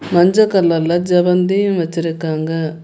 மஞ்ச கலர்ல செவ்வந்தியும் வச்சிருக்காங்க.